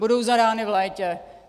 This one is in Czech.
Budou zadány v létě.